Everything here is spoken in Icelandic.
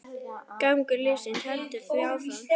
Gangur lífsins heldur því áfram.